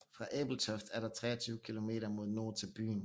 Fra Ebeltoft er der 23 kilometer mod nord til byen